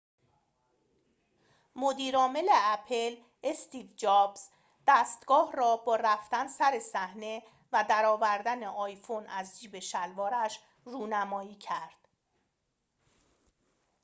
مدیر عامل اپل استیو جابز دستگاه را با رفتن سر صحنه و در آوردن آیفون از جیب شلوارش رونمایی کرد